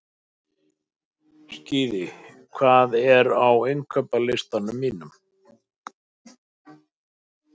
Skíði, hvað er á innkaupalistanum mínum?